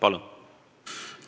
Palun!